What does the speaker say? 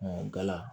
gala